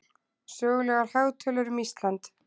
sögulegar hagtölur um ísland